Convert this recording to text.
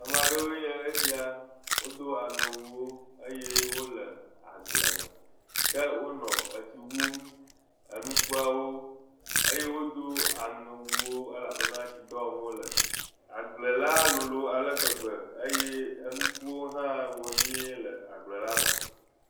Ame aɖewoe nye esia. Wodo aŋewuwo eye wo le agble ke wonɔ etsi wum ŋkuawo eye wodo aŋewuwo elabena tsidɔ wɔm wo le.